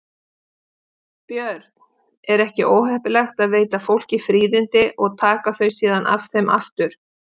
Björn: Er ekki óheppilegt að veita fólki fríðindi og taka þau síðan af þeim aftur?